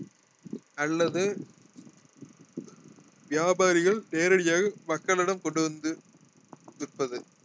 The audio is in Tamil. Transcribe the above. அல்லது வியாபாரிகள் நேரடியாக மக்களிடம் கொண்டு வந்து விற்பது